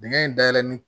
Dingɛ in dayɛlɛ ni